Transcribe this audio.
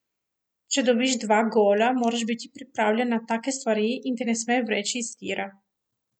Če dobiš dva gola, moraš biti pripravljen na take stvari in te ne sme vreči iz tira.